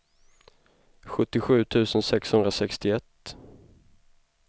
sjuttiosju tusen sexhundrasextioett